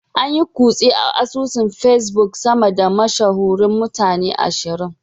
An yi kutse a asusun Facebook sama da mashahuran mutane ashirin.